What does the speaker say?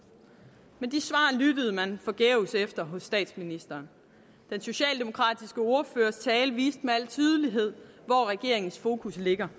men de svar lyttede man forgæves efter hos statsministeren den socialdemokratiske ordførers tale viste med al tydelighed hvor regeringens fokus ligger